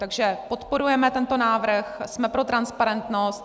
Takže podporujeme tento návrh, jsme pro transparentnost.